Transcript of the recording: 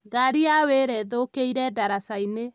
Ngari ya wĩra ĩthũkĩire ndaraca-inĩ